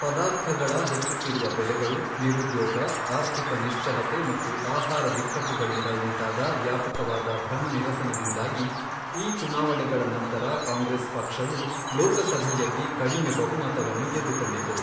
ಪದಾರ್ಥಗಳ ಹೆಚ್ಚುತ್ತಿರುವ ಬೆಲೆಗಳು, ನಿರುದ್ಯೋಗ, ಆರ್ಥಿಕ ನಿಶ್ಚಲತೆ ಮತ್ತು ಆಹಾರ ಬಿಕ್ಕಟ್ಟುಗಳಿಂದ ಉಂಟಾದ ವ್ಯಾಪಕವಾದ ಭ್ರಮನಿರಸನದಿಂದಾಗಿ ಈ ಚುನಾವಣೆಗಳ ನಂತರ ಕಾಂಗ್ರೆಸ್ ಪಕ್ಷವು ಲೋಕಸಭೆಯಲ್ಲಿ ಕಡಿಮೆ ಬಹುಮತವನ್ನು ಗೆದ್ದುಕೊಂಡಿತು.